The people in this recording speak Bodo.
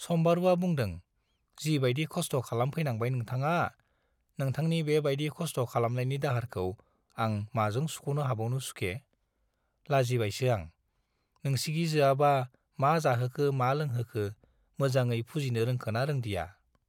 सम्बारुवा बुंदों, जि बाइदि खस्थ' खालामफैनांबाय नोंथाङा, नोंथांनि बे बाइदि खस्थ' खालामनायनि दाहारखौ आं माजों सुख'नो हाबावनो सुखे? लाजिबायसो आं। नोंसिगिजोआबा मा जाहोखो मा लोंहोखो मोजाङै फुजिनो रोंखोना रोंदिया?